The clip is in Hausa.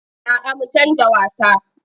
A'a mu canja wasa.